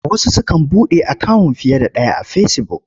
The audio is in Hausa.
Wasu sukan buɗe akawun fiye da ɗaya a Fesibuk.